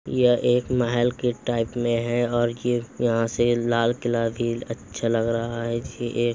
यह एक महेल के टाइप में है और ये यहाँ से लाल किल्ला भी अच्छा लग रहा है ये --